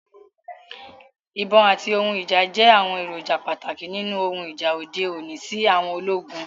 Ibon ati ohun ija jẹ awọn eroja pataki ninu ohun ija ode oni si àwọn ologun